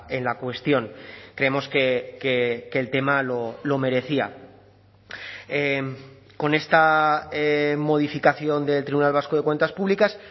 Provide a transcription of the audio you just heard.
en la cuestión creemos que el tema lo merecía con esta modificación del tribunal vasco de cuentas públicas